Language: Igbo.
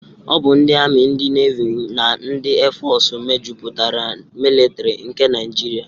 Ọ bụ ndị Ami, ndị Nevi na ndị Éfọọsụ mejupụtara militọri nke Naijiria.